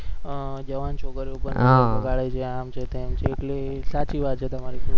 અ જવાન છોકરીઓ પર નજર બગાડે છે આમ છે તેમ છે એટલે સાચી વાત છે તમારી